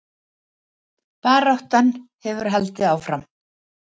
Baráttan hefur haldið áfram